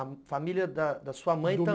A família da da sua mãe também? do meu